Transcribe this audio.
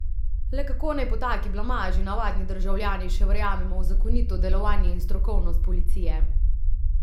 Le kako naj po taki blamaži navadni državljani še verjamemo v zakonito delovanje in strokovnost policije?